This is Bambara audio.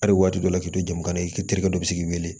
Hali waati dɔ la k'i to jamana i terikɛ dɔ bi se k'i wele